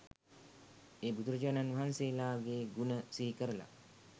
ඒ බුදුරජාණන් වහන්සේලාගේ ගුණ සිහිකරලා